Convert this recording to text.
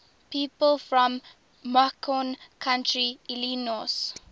people from macon county illinois